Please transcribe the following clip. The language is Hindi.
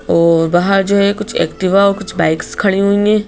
और बाहर जो है कुछ एक्टिवा कुछ बाइक्स खड़ी हुई--